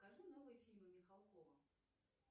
покажи новые фильмы михалкова